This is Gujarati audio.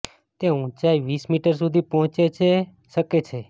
તે ઊંચાઈ વીસ મીટર સુધી પહોંચે છે શકે છે